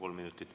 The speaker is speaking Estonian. Kolm minutit.